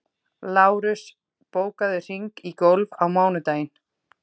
Lárus, bókaðu hring í golf á mánudaginn.